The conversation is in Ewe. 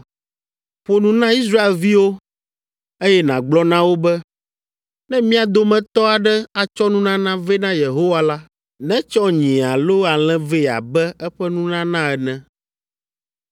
“Ƒo nu na Israelviwo eye nàgblɔ na wo be, ‘Ne mia dometɔ aɖe atsɔ nunana vɛ na Yehowa la, netsɔ nyi alo alẽ vɛ abe eƒe nunana ene.